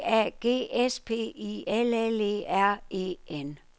B A G S P I L L E R E N